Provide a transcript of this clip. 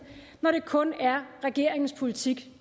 når det kun er regeringens politik